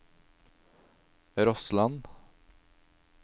Rossland